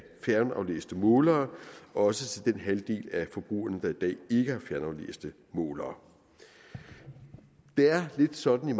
fjernaflæste målere også til den halvdel af forbrugerne der i dag ikke har fjernaflæste målere det er lidt sådan